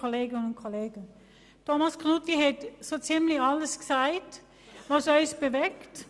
Knutti hat so ziemlich alles gesagt, was uns bewegt.